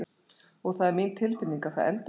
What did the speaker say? Og það er mín tilfinning að það endi með því.